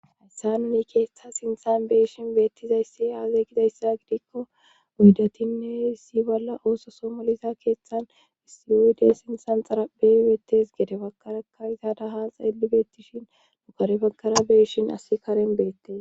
hayssa nuni keettha sinthan beyishin beettizayssi aaze gizayssa gidikko uddatinne isi bolla ooso soomoliza keeththan issiyuude sinsan xarabe beettes gede bagkarakka izaadaha xeeli beettishin nukare baggara beyishin asi karen beettes